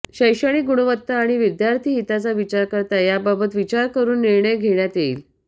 शैक्षणिक गुणवत्ता आणि विद्यार्थी हिताचा विचार करता याबाबत विचार करून निर्णय घेण्यात येईल